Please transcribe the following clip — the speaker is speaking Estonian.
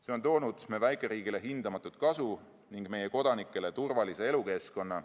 See on toonud meie väikeriigile hindamatut kasu ning meie kodanikele turvalise elukeskkonna.